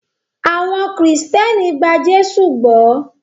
Awon Kristẹni gba Jésụ gbó.